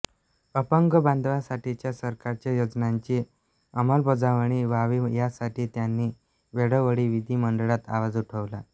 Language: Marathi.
अपंग बांधवांसाठीच्या सरकारच्या योजनांची अमलबजावणी व्हावी यासाठी त्यांनी वेळोवेळी विधीमंडळात आवाज उठवला